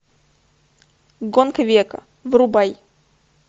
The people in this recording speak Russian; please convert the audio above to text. гонка века врубай